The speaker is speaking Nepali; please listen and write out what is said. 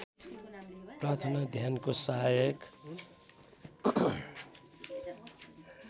प्रार्थना ध्यानको सहायक